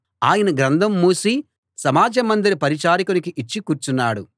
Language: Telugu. ఆయన గ్రంథం మూసి సమాజ మందిర పరిచారకునికి ఇచ్చి కూర్చున్నాడు